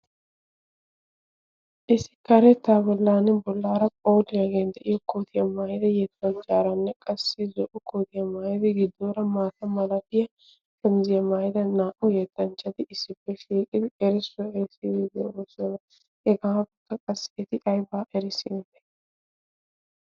isi kareeta bollan bollaara phooliyaagen de'iyo kootiyaa maayidi yeetpajjaaranne qassi zo''o kootiyaa maayidi giddoora maata malatiya shamiziyaa maayida naa''u yeettanchchati issippe shiiqidi erissuwa erissii wii googoossona hegaatutta qassi eti aybaa erissi ite